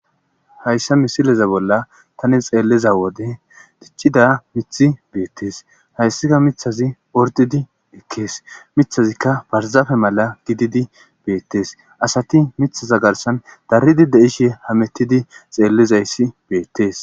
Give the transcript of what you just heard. Hayssa misileza bolla tanin xeelliza wode tichida mithi beettes hayssika mithazi ordidi ekkees mithazikka barzaafe mala gididi beettees asati mithaza garsan daridi de7ishe hamettidi xeellizayssi beettees.